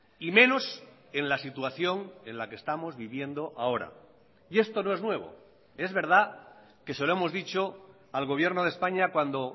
y menos en la situación en la que estamos viviendo ahora y esto no es nuevo es verdad que se lo hemos dicho al gobierno de españa cuando